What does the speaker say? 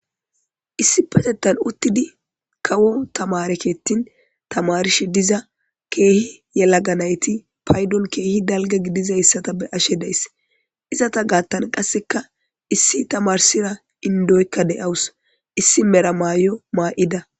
issi petettan uttidi kawo tamarekettin tamarshi diza keehi yelaganayti paydon keehi dalga gidiza hissata be ashe days izata gaattan qasseka issi tamarsira indoykka de7awus issi meramaay7o maa7ida